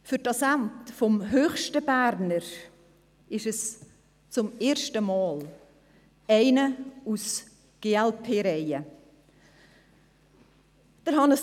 Für das Amt des höchsten Berners ist es zum ersten Mal einer aus den Reihen der glp.